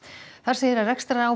þar segir að